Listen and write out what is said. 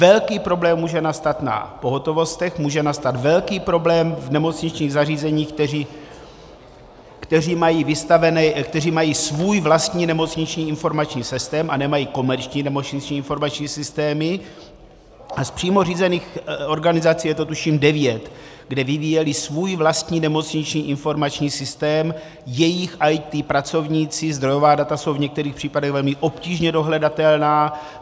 Velký problém může nastat na pohotovostech, může nastat velký problém v nemocničních zařízeních, která mají svůj vlastní nemocniční informační systém a nemají komerční nemocniční informační systém a z přímo řízených organizací je to, tuším, devět, kde vyvíjeli svůj vlastní nemocniční informační systém, jejich IT pracovníci, zdrojová data jsou v některých případech velmi obtížně dohledatelná.